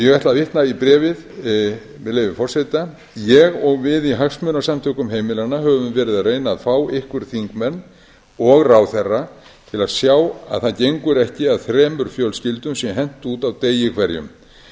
ég ætla að vitna í bréfið með leyfi forseta ég og við í hagsmunasamtökum heimilanna höfum verið að reyna að fá ykkur þingmenn og ráðherra til að sjá að það gengur ekki að þremur fjölskyldum sé hent út á degi hverjum